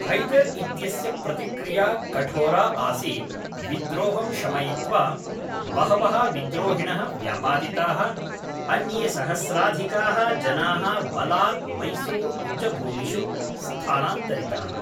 हैदर् इत्यस्य प्रतिक्रिया कठोरा आसीत् विद्रोहं शमयित्वा, बहवः विद्रोहिणः व्यापादिताः, अन्ये सहस्राधिकाः जनाः बलात् मैसूरु उच्चभूमिषु स्थानान्तरिताः।